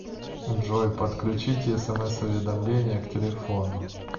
джой подключите смс уведомления к телефону